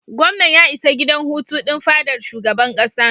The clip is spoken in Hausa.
Gwamnan ya isa gidan hutu din fadar shugaban kasa.